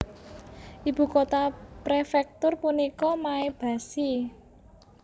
Ibu kota prefektur punika Maebashi